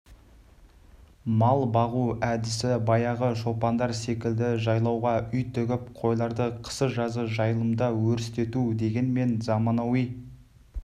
мал бағу әдісі баяғы шопандар секілді жайлауға үй тігіп қойларды қысы-жазы жайылымда өрістету дегенмен заманауи